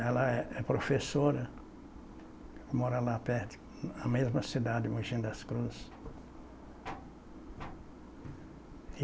Ela é é professora, mora lá perto, na mesma cidade, Mogi das Cruzes.